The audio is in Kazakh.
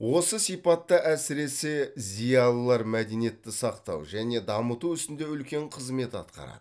осы сипатта әсіресе зиялылар мәдениетті сақтау және дамыту ісінде үлкен қызмет атқарады